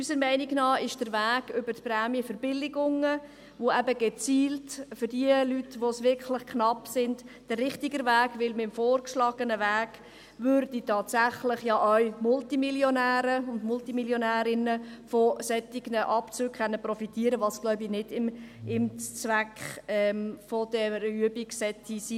Unserer Meinung nach ist der Weg über die Prämienverbilligungen, der diejenigen Leute unterstützt, für die es richtig knapp wird, der richtigere Weg, denn beim vorgeschlagenen Weg würden tatsächlich auch Multimillionäre und Multimillionärinnen von solchen Abzügen profitieren können, was wohl nicht dem Zweck einer solchen Übung entsprechen sollte.